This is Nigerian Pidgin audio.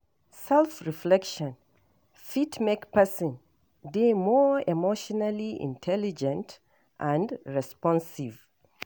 Self reflection fit make person dey more emotionally intelligent and responsive